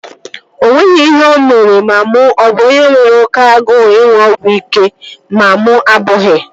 O nweghị ihe o mere ma mụ a bụ onye nwere oké agụụ ịṅụ ọgwụ ike ma mụ abụghị